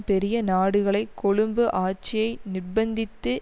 பெரிய நாடுகளை கொழும்பு ஆட்சியை நிர்பந்தித்து